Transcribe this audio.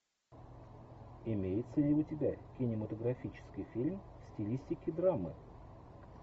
имеется ли у тебя кинематографический фильм в стилистике драмы